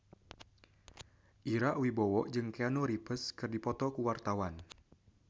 Ira Wibowo jeung Keanu Reeves keur dipoto ku wartawan